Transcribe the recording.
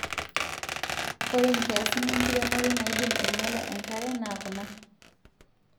Ore nkiasin enkiremore naidim anyiala enkare naa kuna;